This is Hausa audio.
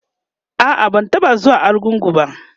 a'a ban taɓa zuwa argungu ba